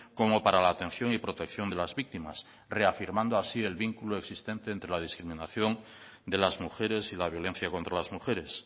como para la atención y protección de las víctimas reafirmando así el vínculo existente entre la discriminación de las mujeres y la violencia contra las mujeres